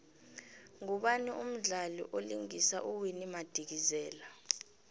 ngubani umdlali vlingisa uwinnie madikizela